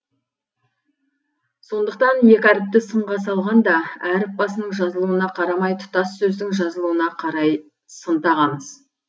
сондықтан екі әріпті сынға салғанда әріп басының жазылуына қарамай тұтас сөздің жазылуына қарай сын тағамыз